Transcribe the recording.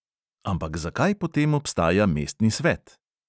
Ampak zakaj potem obstaja mestni svet?